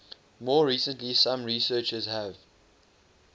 more recently some researchers have